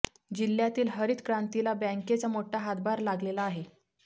जिल्ह्यातील हरित क्रांतीला बँकेचा मोठा हातभार लागलेला आहे